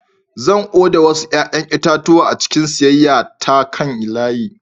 Zan oda wasu 'ƴa'ƴan itatuwa a cikin siyayya ta kan layi.